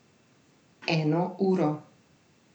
Eno uro.